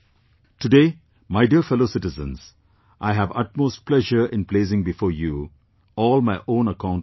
Today, my dear fellow citizens, I have utmost pleasure in placing before you all my own account on this